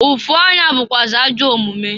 Ụfụ anya bukwụazị ajọ omumu.